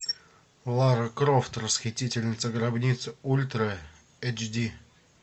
лара крофт расхитительница гробниц ультра эйч ди